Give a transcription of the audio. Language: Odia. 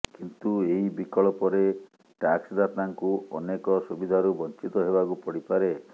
କିନ୍ତୁ ଏହି ବିକଳ୍ପରେ ଟାକ୍ସଦାତାଙ୍କୁ ଅନେକ ସୁବିଧାରୁ ବଞ୍ଚିତ ହେବାକୁ ପଡ଼ିପାରେ